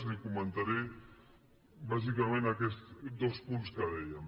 li comentaré bàsicament aquests dos punts que dèiem